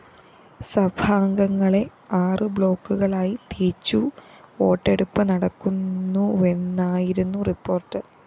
സഭാംഗങ്ങളെ ആറു ബ്ലോക്കുകളായി തിരിച്ചു വോട്ടെടുപ്പ് നടക്കുന്നുവെന്നായിരുന്നു റിപ്പോർട്ട്‌